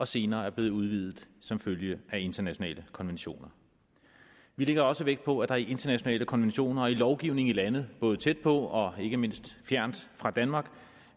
senere er blevet udvidet som følge af internationale konventioner vi lægger også vægt på at der i internationale konventioner og i lovgivning i lande både tæt på og ikke mindst fjernt fra danmark